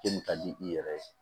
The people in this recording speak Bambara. K'e me ka di i yɛrɛ ye